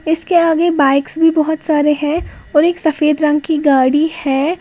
इसके आगे बाइक्स भी बहोत सारे हैं और एक सफेद रंग की गाड़ी है।